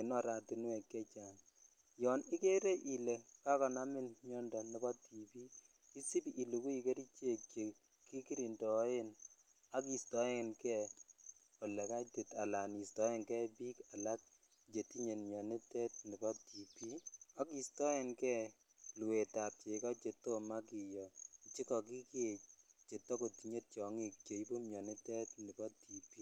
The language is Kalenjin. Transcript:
en oratinywek chechang yon ikere ile kakonamin miando nepo TB isip ilukui kerichek chekikirindoen akistoenge ele kaitit akistoenge biik alak chetindoo mianitet nepo TB akistoengee luetab cheko chetomo kiyoo chekokikee chetokotinye tiong'ik cheibu mianitet nepo TB.